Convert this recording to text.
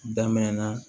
Daminɛ na